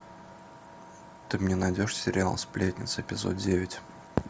ты мне найдешь сериал сплетница эпизод девять